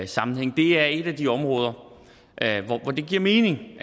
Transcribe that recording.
sammenhæng det er et af de områder hvor det giver mening